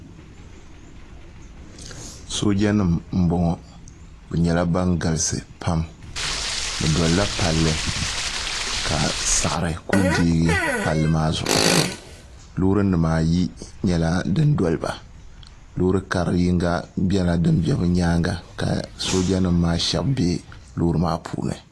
soojanima m-bɔŋɔ bɛ nyɛla ban galisi pam bɛ dolila palli ka saɣiri ku deei palli maa zuɣu loorinima ayi nyɛla din doli ba looori kar' yiŋga nyɛla din be bɛ nyaaŋa ka soojanima maa shɛba be loori maa puuni